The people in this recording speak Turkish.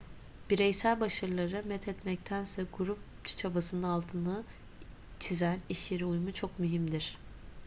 bireysel başarıları methetmektense grup çabasının altını çizen işyeri uyumu çok mühimdir